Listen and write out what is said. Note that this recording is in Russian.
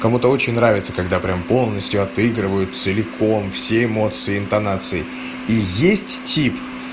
кому-то очень нравится когда прямо полностью отыгрывают целиком все эмоции интонациеи и есть тип